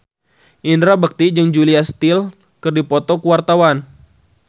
Indra Bekti jeung Julia Stiles keur dipoto ku wartawan